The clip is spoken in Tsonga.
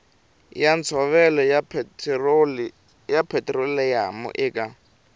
ya ntshovelo ya petiroliyamu eka